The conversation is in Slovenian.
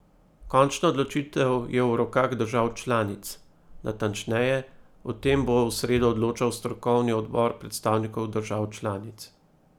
Končna odločitev je v rokah držav članic, natančneje, o tem bo v sredo odločal strokovni odbor predstavnikov držav članic.